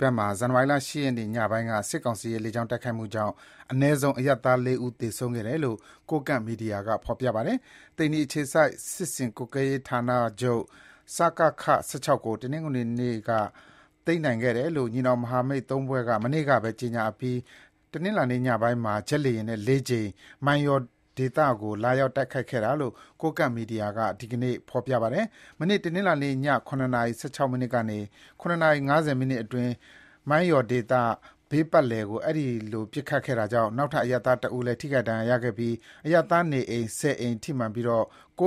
ဘက်မှာ ဇန်နဝါရီလ ၈ ရက်နေ့ ညပိုင်းက စစ်ကောင်စီရဲ့ လေကြောင်း တိုက်မှုကြောင့် အနည်းဆုံး အရပ်သား ၄ ဦး သေဆုံးခဲ့တယ်လို့ ကိုးကန့်မီဒီယာက ဆိုပါတယ်။ သိန္နီအခြေစိုက် စစ်ဆင်ရေးကွပ်ကွဲမှုဌာနချုပ် (စကခ) ၁၆ ကို တနေ့ တနင်္ဂနွေနေ့က သိမ်းနိုင်ခဲ့တယ်လို့ ညီနောင်မဟာမိတ် ၃ ဖွဲ့က မနေ့ကပဲ ကြေညာအပြီး တနင်္လာညပိုင်းမှာ ဂျက်လေယာဉ်နဲ့ ၄ ကြိမ် မိုင်းယော်ဒေသကို လာရောက် တိုက်ခိုက်ခဲ့တာလို့ ကိုးကန့်မီဒီယာမှာ ဒီကနေ့ ဖော်ပြပါတယ်။ မနေ့ တနင်္လာနေ့ည ၇ နာရီ ၁၆ မိနစ်ကနေ ၇ နာရီ ၅၀ မိနစ်အတွင်း မိုင်းယော်ဒေသ ဘေးပတ်ပတ်လည်ကို အဲဒီလို ပစ်ခတ်ခဲ့တာကြောင့် နောက်ထပ် အရပ်သား တစ်ဦးလဲ ဒဏ်ရာရခဲ့ပြီး အရပ်သားနေအိမ် ၁၀ အိမ် ထိမှန်ကာ ၉